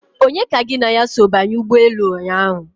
Onye ka gị na ya so banye ụgbọelu ụnyaahụ?